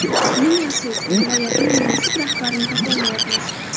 Ming afsus, viloyatning munosib rahbarini topolmayapmiz.